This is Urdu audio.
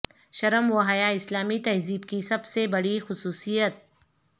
شرم وحیاء اسلامی تہذیب کی سب سے بڑی خصوصیت